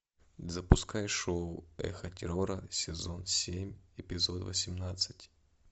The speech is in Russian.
запускай шоу эхо террора сезон семь эпизод восемнадцать